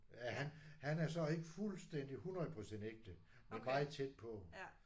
Ja han han er så ikke fuldstændig 100 procent ægte men meget tæt på